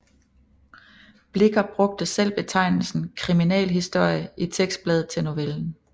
Blicher brugte selv betegnelsen Criminalhistorie i tekstbladet til novellen